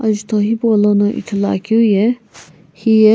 azutho hipolono ithulu akeu ye hiye.